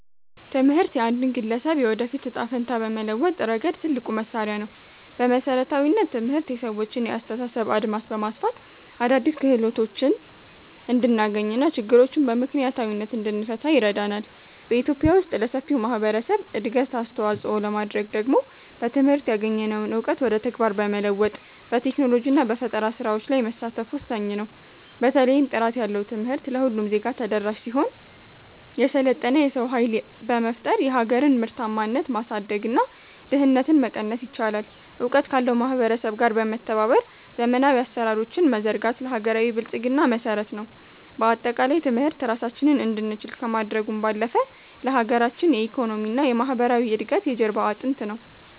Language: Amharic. ትምህርት የአንድን ግለሰብ የወደፊት ዕጣ ፈንታ በመለወጥ ረገድ ትልቁ መሣሪያ ነው። በመሠረታዊነት፣ ትምህርት የሰዎችን የአስተሳሰብ አድማስ በማስፋት አዳዲስ ክህሎቶችን እንድናገኝና ችግሮችን በምክንያታዊነት እንድንፈታ ይረዳናል። በኢትዮጵያ ውስጥ ለሰፊው ማኅበረሰብ እድገት አስተዋፅኦ ለማድረግ ደግሞ በትምህርት ያገኘነውን እውቀት ወደ ተግባር በመለወጥ፣ በቴክኖሎጂና በፈጠራ ሥራዎች ላይ መሳተፍ ወሳኝ ነው። በተለይም ጥራት ያለው ትምህርት ለሁሉም ዜጋ ተደራሽ ሲሆን፣ የሰለጠነ የሰው ኃይል በመፍጠር የሀገርን ምርታማነት ማሳደግና ድህነትን መቀነስ ይቻላል። እውቀት ካለው ማኅበረሰብ ጋር በመተባበር ዘመናዊ አሠራሮችን መዘርጋት ለሀገራዊ ብልጽግና መሠረት ነው። በአጠቃላይ፣ ትምህርት ራሳችንን እንድንችል ከማድረጉም ባለፈ፣ ለሀገራችን የኢኮኖሚና የማኅበራዊ እድገት የጀርባ አጥንት ነው።